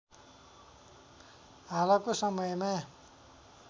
हालको समयमा